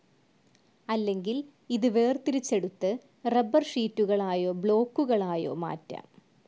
അല്ലെങ്കിൽ ഇത് വേർതിരിച്ചെടുത്ത് റബ്ബർ ഷീറ്റുകളായോ, ബ്ലോക്കുകളായോ മാറ്റാം.